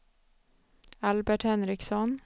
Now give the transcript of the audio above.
Albert Henriksson